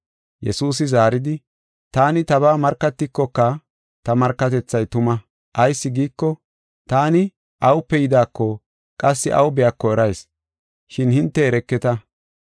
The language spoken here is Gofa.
Yesuusi zaaridi, “Taani tabaa markatikoka ta markatethay tuma. Ayis giiko, taani awupe yidaako qassi aw biyako erayis, shin hinte ereketa.